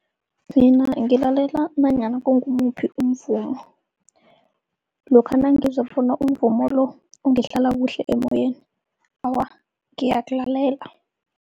Mina ngilalela nanyana kungumuphi umvumo, lokha nangizwa bona umvumo lo ungihlala kuhle emoyeni, awa ngiyawulalela.